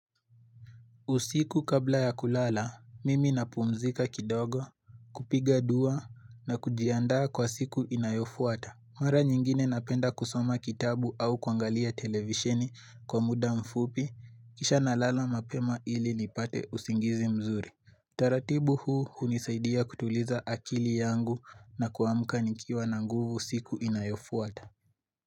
Usiku kabla ya kulala, mimi napumzika kidogo, kupiga dua na kujiandaa kwa siku inayofuata. Mara nyingine napenda kusoma kitabu au kuangalia televisheni kwa muda mfupi, kisha nalala mapema ili lipate usingizi mzuri. Taratibu huu unisaidia kutuliza akili yangu na kuamka nikiwa na nguvu siku inayofuata.